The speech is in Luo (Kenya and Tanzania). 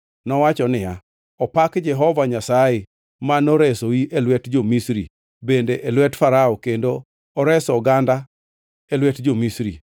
Nowacho niya, “Opak Jehova Nyasaye, ma noresoi e lwet jo-Misri bende e lwet Farao kendo oreso oganda e lwet jo-Misri.